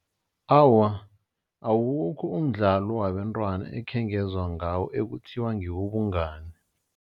Awa, awukho umdlalo wabentwana ekhengezwa ngawo ekuthiwa ngewobungani.